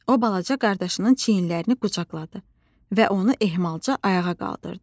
O balaca qardaşının çiynlərini qucaqladı və onu ehmalca ayağa qaldırdı.